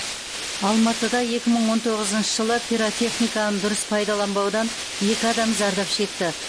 алматыда екі мың он тоғызыншы жылы пиротехниканы дұрыс пайдаланбаудан екі адам зардап шекті